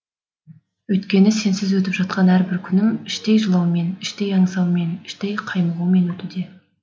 өйткені сенсіз өтіп жатқан әрбір күнім іштей жылаумен іштей аңсаумен іштей қаймығумен өтуде